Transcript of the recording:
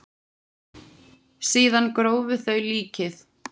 Síðan grófu þau líkið.